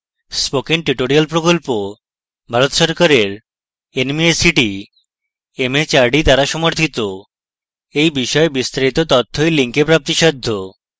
spoken tutorial প্রকল্প ভারত সরকারের nmeict mhrd দ্বারা সমর্থিত এই বিষয়ে বিস্তারিত তথ্য এই link প্রাপ্তিসাধ্য